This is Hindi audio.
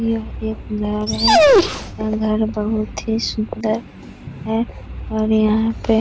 यह एक घर है और घर बहुत ही सुंदर है और यहाँ पे --